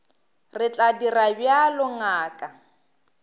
re tla dira bjalo ngaka